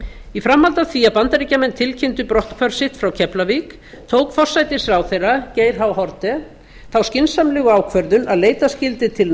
í framhaldi af því að bandaríkjamenn tilkynntu brotthvarf sitt frá keflavík tók forsætisráðherra geir h haarde þá skynsamlegu ákvörðun að leita skyldi til